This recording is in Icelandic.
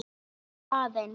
Bíddu aðeins